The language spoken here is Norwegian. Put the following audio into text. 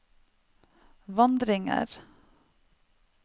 vandringer